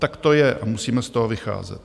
Tak to je a musíme z toho vycházet.